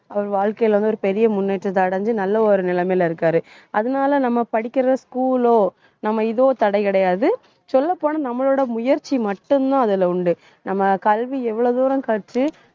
அவர் வாழ்க்கையில வந்து, ஒரு பெரிய முன்னேற்றத்தை அடைஞ்சு நல்ல ஒரு நிலைமையில இருக்காரு. அதனால நம்ம படிக்கிற school ஓ நம்ம ஏதோ தடை கிடையாது சொல்லப் போனா நம்மளோட முயற்சி மட்டும்தான் அதுல உண்டு. நம்ம கல்வி எவ்வளவு தூரம் கற்று